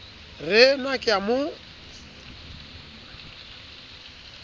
re na ke a mo